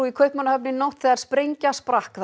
í Kaupmannahöfn í nótt þegar sprengja sprakk þar